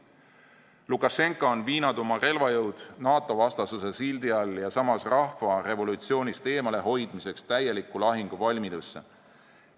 Lukašenka on viinud oma relvajõud NATO-vastasuse sildi all ja samas rahva revolutsioonist eemalehoidmiseks täielikku lahinguvalmidusse.